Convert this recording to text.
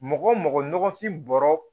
Mɔgɔ wo mɔgɔfin bɔrɔ